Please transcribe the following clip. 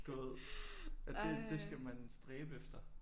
Du ved at det det skal man stræbe efter